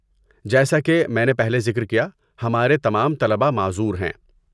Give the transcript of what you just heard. جیسا کہ میں نے پہلے ذکر کیا، ہمارے تمام طلباء معذور ہیں۔